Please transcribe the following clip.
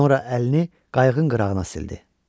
Sonra əlini qayığın qırağına sildi.